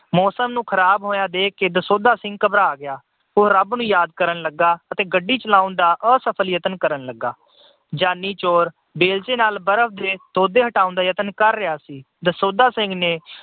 ਮੌਸਮ ਨੂੰ ਖਰਾਬ ਹੋਇਆ ਦੇਖਕੇ ਦਸੌਂਧਾ ਸਿੰਘ ਘਬਰਾ ਗਿਆ। ਉਹ ਰੱਬ ਨੂੰ ਯਾਦ ਕਰਨ ਲੱਗਾ ਅਤੇ ਗੱਡੀ ਚਲਾਉਣ ਦਾ ਅਸਫਲ ਯਤਨ ਕਰਨ ਲੱਗਾ। ਜਾਨੀ ਚੋਰ ਵੇਲਚੇ ਨਾਲ ਬਰਫ ਦੇ ਤੋਧੇ ਹਟਾਉਣ ਦਾ ਯਤਨ ਕਰ ਰਿਹਾ ਸੀ। ਦਸੌਂਧਾ ਸਿੰਘ ਨੇ